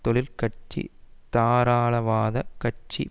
தொழிற்கட்சி தாராளவாத கட்சி